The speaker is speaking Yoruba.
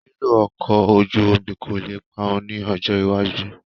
Lílo ọkọ̀ ojú omi kò le parun ní ọjọ́ iwájú